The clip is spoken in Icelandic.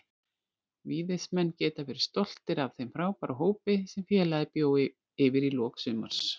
Víðismenn geta verið stoltir af þeim frábæra hópi sem félagið bjó yfir í lok sumars.